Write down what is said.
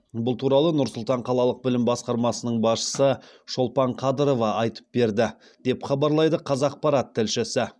бұл туралы нұр сұлтан қалалық білім басқармасының басшысы шолпан қадырова айтып берді деп хабарлайды қазақпарат тілшісі